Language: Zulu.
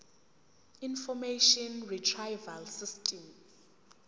information retrieval system